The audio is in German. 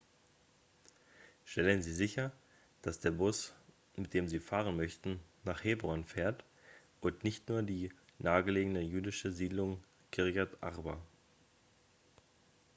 stellen sie sicher dass der bus mit dem sie fahren möchten nach hebron fährt und nicht nur in die nahegelegene jüdische siedlung kirjat arba